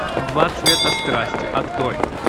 два цвета страсти открой